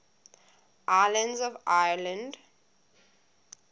islands of ireland